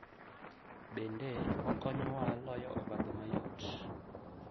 Bende, okonyowa loyo obadho mayot.